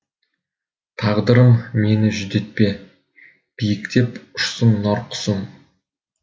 тағдырым мені жүдетпе биіктеп ұшсын нар құсым